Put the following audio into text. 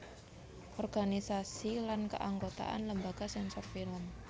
Organisasi lan Keanggotaan Lembaga Sensor Film